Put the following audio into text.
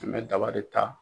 An bɛ daba de ta.